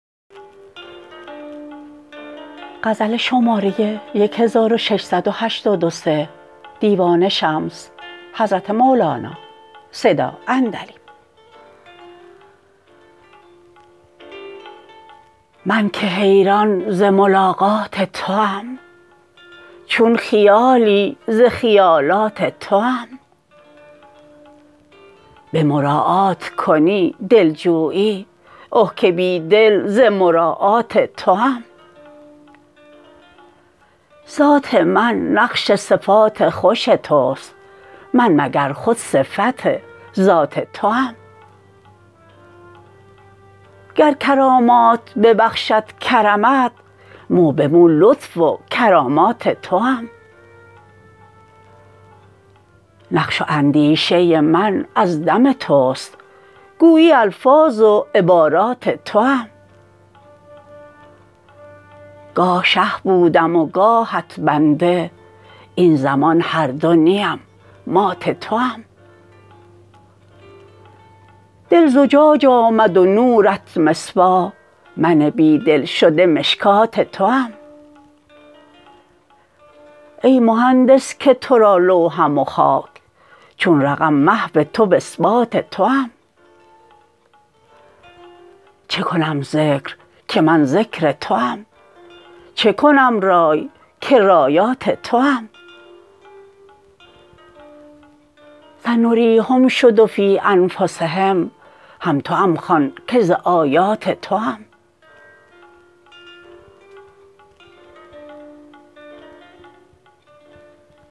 من که حیران ز ملاقات توام چون خیالی ز خیالات توام به مراعات کنی دلجویی اه که بی دل ز مراعات توام ذات من نقش صفات خوش توست من مگر خود صفت ذات توام گر کرامات ببخشد کرمت مو به مو لطف و کرامات توام نقش و اندیشه من از دم توست گویی الفاظ و عبارات توام گاه شه بودم و گاهت بنده این زمان هر دو نیم مات توام دل زجاج آمد و نورت مصباح من بی دل شده مشکات توام ای مهندس که تو را لوحم و خاک چون رقم محو تو و اثبات توام چه کنم ذکر که من ذکر توام چه کنم رای که رایات توام سنریهم شد و فی انفسهم هم توام خوان که ز آیات توام